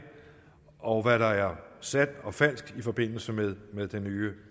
og hvad der er sandt og falsk i forbindelse med med den nye